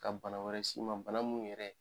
Ka bana wɛrɛ s'i ma, bana minnu yɛrɛ